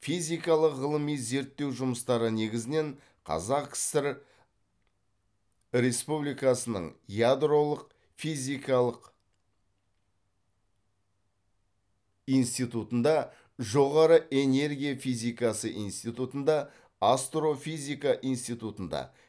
физикалық ғылыми зерттеу жұмыстары негізінен қаз кср республикасының ядролық физикалық институтында жоғары энергия физикасы институтында астрофизика институтында